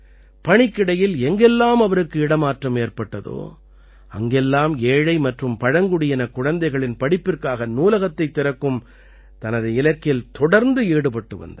பணிக்கிடையில் எங்கெல்லாம் அவருக்கு இடமாற்றம் ஏற்பட்டதோ அங்கெல்லாம் ஏழை மற்றும் பழங்குடியினக் குழந்தைகளின் படிப்பிற்காக நூலகத்தைத் திறக்கும் தனது இலக்கில் தொடர்ந்து ஈடுபட்டு வந்தார்